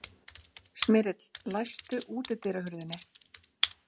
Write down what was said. Smyrill, læstu útidyrahurðinni.